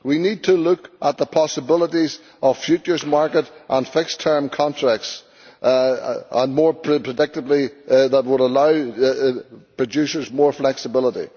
We need to look at the possibilities of futures market and fixed term contracts, as more predictability would allow producers more flexibility.